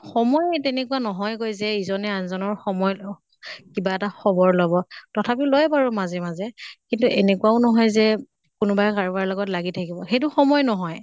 সময়ে তেনেকুৱা নহয় গে যে ইজনে আন জনৰ সময় লওঁ। কিবা এটা খবৰ লʼব। তথাপিও লয় বাৰু মাজে মাজে। কিন্তু এনেকুৱাও নহয় যে কোনোবাই কাৰোবাৰ লগত লাগি থাকিব। সেইটো সময় নহয়